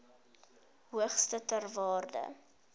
hoogste ter wêreld